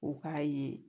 U k'a ye